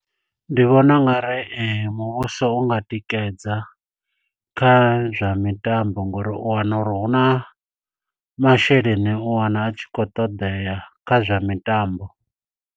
Ndi vhona u nga uri muvhuso u nga tikedza kha zwa mitambo, ngo uri u wana uri hu na masheleni, u wana a tshi khou ṱoḓea kha zwa mitambo.